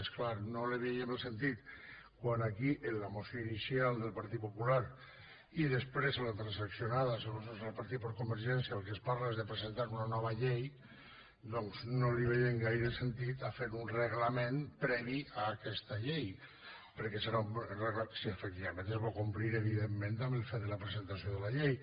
és clar no veiem gaire el sentit quan aquí en la moció inicial del partit popular i després en la transaccionada segons se’ns ha repartit per convergència del que es parla és de presentar una nova llei de fer un reglament previ a aquesta llei si efectivament es vol complir evidentment el fet de la presentació de la llei